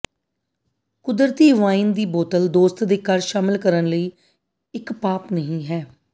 ਕੁਦਰਤੀ ਵਾਈਨ ਦੇ ਦੀ ਬੋਤਲ ਦੋਸਤ ਦੇ ਘਰ ਸ਼ਾਮਿਲ ਕਰਨ ਲਈ ਇੱਕ ਪਾਪ ਨਹੀ ਹੈ